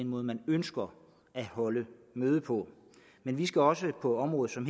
måde man ønsker at holde møde på men vi skal også på områder som